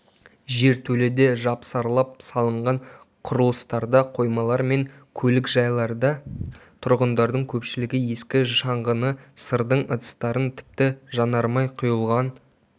жертөледе жапсарлап салынған құрылыстарда қоймалар мен көлікжайларда тұрғындардың көпшілігі ескі шаңғыны сырдың ыдыстарын тіпті жанармай құйылған